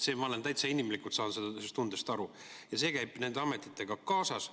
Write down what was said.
Ma inimlikult saan sellest tundest täitsa aru ja see käib nende ametitega kaasas.